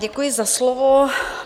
Děkuji za slovo.